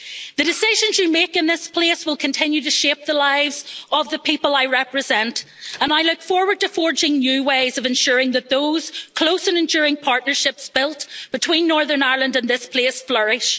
The decisions you make in this place will continue to shape the lives of the people I represent, and I look forward to forging new ways of ensuring that those close and enduring partnerships built between Northern Ireland and this place flourish.